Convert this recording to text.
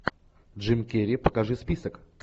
джим керри покажи список